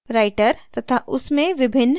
writer तथा उसमें विभिन्न toolbars देखे